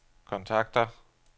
kontakter